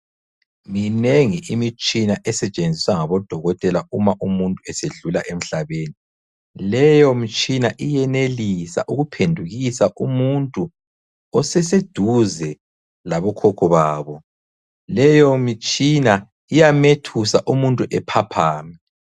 Minengi imitshina esetshenziswa ngabodokotela uma umuntu esedlula emhlabeni. Leyo mitshina iyenelisa ukuphendukisa umuntu oseseduze labokhokho babo leyo mitshina iyamethusa umuntu ephaphame.